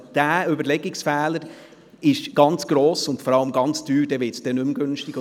Dieser Überlegungsfehler ist sehr gross und vor allem sehr teuer.